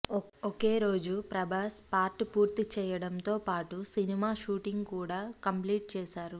ఒకేరోజు Prabhas part పూర్తిచేయడంతో పాటు cinema shooting కూడా కంప్లీట్ చేశారు